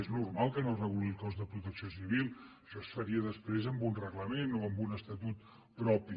és normal que no reguli el cos de protecció civil això es faria després amb un reglament o amb un estatut propi